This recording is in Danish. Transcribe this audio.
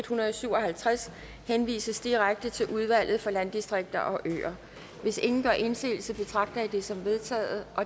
hundrede og syv og halvtreds henvises direkte til udvalget for landdistrikter og øer hvis ingen gør indsigelse betragter jeg det som vedtaget